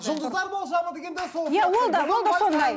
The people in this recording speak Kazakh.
жұлдыздар болжамы деген де